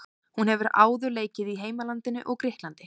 Hún hefur áður leikið í heimalandinu og Grikklandi.